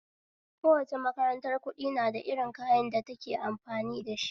Kowace makarantar kuɗi nada irin kayan da take amfani dashi